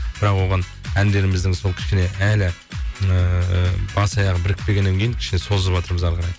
бірақ оған әндеріміздің сол кішкене әлі ыыы бас аяғы бірікпегеннен кейін кішкене созыватырмыз әрі қарай